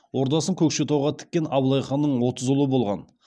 ордасын көкшетауға тіккен абылай ханның отыз ұлы болған